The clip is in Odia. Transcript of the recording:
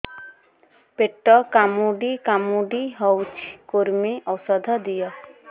ପେଟ କାମୁଡି କାମୁଡି ହଉଚି କୂର୍ମୀ ଔଷଧ ଦିଅ